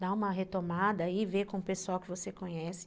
Dá uma retomada e vê com o pessoal que você conhece.